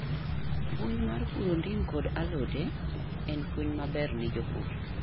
Puonj mar puro ndim kod alode en punonj maber ni jopur